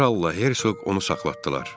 Kral da Hersoq onu saxlatdılar.